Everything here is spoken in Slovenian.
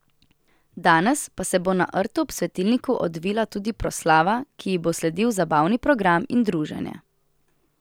Danes pa se bo na rtu ob svetilniku odvila tudi proslava, ki ji bo sledil zabavni program in druženje.